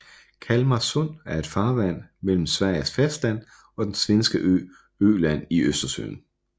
Kalmarsund er et farvand mellem Sveriges fastland og den svenske ø Öland i Østersøen